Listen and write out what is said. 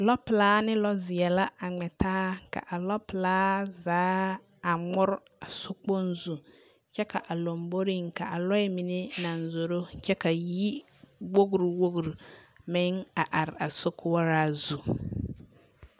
Lͻpelaa ne lͻzeԑ a ŋmԑ taa ka a lͻpelaa zaa a ŋmore a sokpoŋ zu kyԑ ka a lomboriŋ ka a lͻͻ mine naŋ zoro kyԑ ka yiwogiri wogiriŋ meŋ a are a sokoͻraa zu.